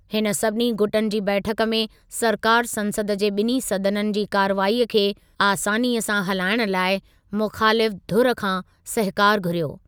हिन सभिनी गुटनि जी बैठकु में सरकारि संसद जे ॿिन्हीं सदननि जी कार्रवाईअ खे आसानीअ सां हलाइण लाइ मुख़ालिफ़ु धुरि खां सहकारु घुरियो।